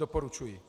Doporučuji.